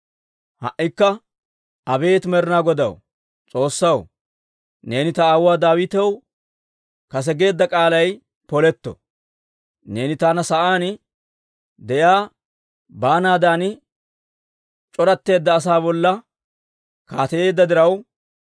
Ha"ikka abeet Med'inaa Godaw, S'oossaw, neeni ta aawuwaa Daawitaw kase geedda k'aalay poletto. Neeni taana sa'aan de'iyaa baanaadan c'oratteedda asaa bolla kaateyeedda diraw,